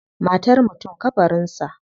Matar mutum kabarin sa.